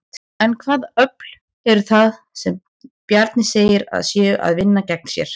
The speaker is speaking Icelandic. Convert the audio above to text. En hvaða öfl eru það sem Bjarni segir að séu að vinna gegn sér?